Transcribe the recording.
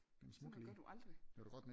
Sådan noget gør du aldrig